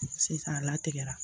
Sisan a latigɛra